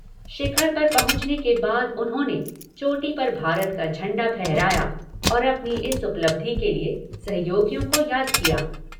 शिखर पर पहुंचने के बाद उन्होंने चोटी पर भारत का झण्डा फहराया और अपनी इस उपलब्धि के लिए सहयोगियों को याद किया।